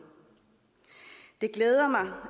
det glæder mig